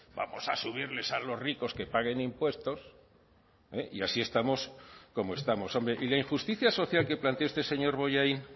vamos a subirles a los ricos que paguen impuestos y así estamos como estamos hombre y la injusticia social que plantea usted señor bollain